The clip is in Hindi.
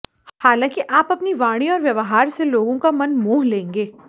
हालांकि आप अपनी वाणी और व्यवहार से लोगों का मन मोह लेंगे